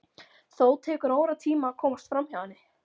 Þó tekur óratíma að komast framhjá henni.